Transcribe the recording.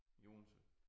I Odense